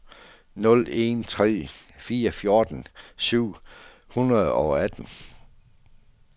nul en tre fire fjorten syv hundrede og atten